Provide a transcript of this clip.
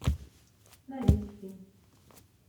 норильске